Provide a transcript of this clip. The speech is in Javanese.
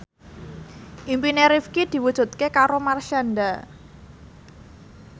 impine Rifqi diwujudke karo Marshanda